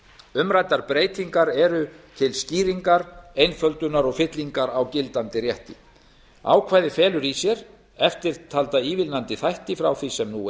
umræddar breytingar eru til skýringar einföldunar og fyllingar á gildandi rétti ákvæðið felur í sér eftirtalda ívilnandi þætti frá því sem nú